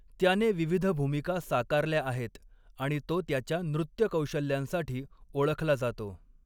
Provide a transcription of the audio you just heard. त्याने विविध भूमिका साकारल्या आहेत आणि तो त्याच्या नृत्य कौशल्यांसाठी ओळखला जातो.